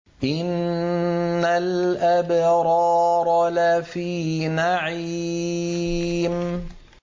إِنَّ الْأَبْرَارَ لَفِي نَعِيمٍ